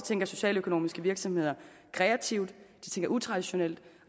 tænker socialøkonomiske virksomheder kreativt de tænker utraditionelt